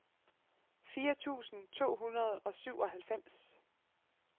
firs tusind to hundrede og syvoghalvfems